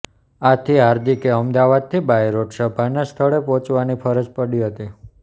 આથી હાર્દિકે અમદાવાદથી બાયરોડ સભાના સ્થળે પહોંચવાની ફરજ પડી હતી